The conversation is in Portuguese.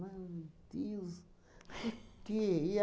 Meu Deus, por quê? E